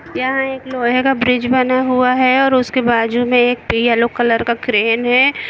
यहां एक लोहे का ब्रिज बना हुआ है और उसके बाजू में एक येलो कलर का क्रेन है।